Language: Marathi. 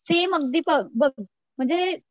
सेम अगदी बघ म्हणजे